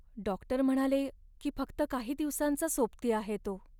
Doctor म्हणाले की फक्त काही दिवसांचा सोबती आहे तो.